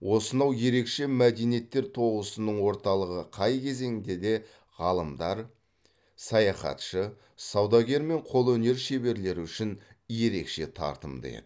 осынау ерекше мәдениеттер тоғысының орталығы қай кезеңде де ғалымдар саяхатшы саудагер мен қолөнер шеберлері үшін ерекше тартымды еді